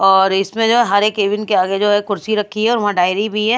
और इसमें जो है हर एक केबिन के आगे जो है कुर्सी रखी है और वहां डायरी भिह ।